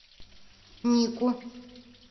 нику